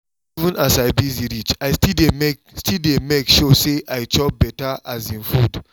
even as i busy reach i still dey make still dey make sure say i chop better um food